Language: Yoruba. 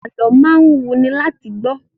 Alọ́ máa ń wuni láti gbọ́